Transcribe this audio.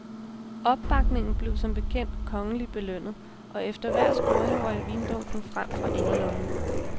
Opbakningen blev som bekendt kongeligt belønnet, og efter hver scoring røg vindunken frem fra inderlommen.